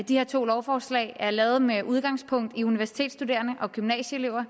de her to lovforslag er lavet med udgangspunkt i universitetsstuderende og gymnasieelevers